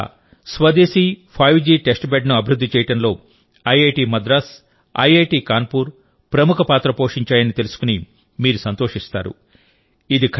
భారతదేశ స్వదేశీ five G test బెడ్ను అభివృద్ధి చేయడంలో ఐఐటి మద్రాస్ ఐఐటి కాన్పూర్ ప్రముఖ పాత్ర పోషించాయని తెలుసుకుని మీరు సంతోషిస్తారు